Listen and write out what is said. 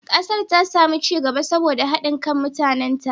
Kasar ta sami ci gaba saboda haɗin kan mutanenta.